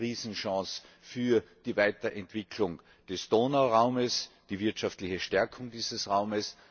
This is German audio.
eine Riesenchance für die Weiterentwicklung des Donauraums, die wirtschaftliche Stärkung dieses Raums.